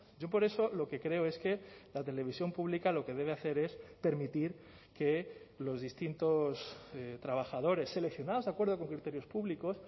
yo por eso lo que creo es que la televisión pública lo que debe hacer es permitir que los distintos trabajadores seleccionados de acuerdo con criterios públicos